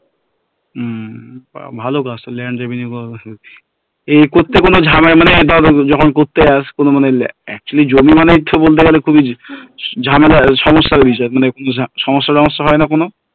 হম ভালো কাজটা land revenue এই করতে কোনো ঝামেলা মানে ধর যখন করতে যাস কোনো মানে actually জমি মানেই তো বলতে গেলে খুবই ঝামেলা সমস্যার বিষয় মানে সমস্যা টমস্যা হয় না কোনো